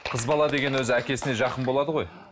қыз бала деген өзі әкесіне жақын болады ғой